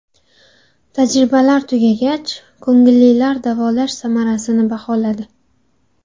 Tajribalar tugagach, ko‘ngillilar davolash samarasini baholadi.